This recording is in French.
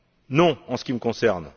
Non, en ce qui me concerne.